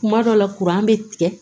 Kuma dɔ la bɛ tigɛ